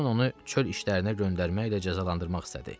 Saymon onu çöl işlərinə göndərməklə cəzalandırmaq istədi.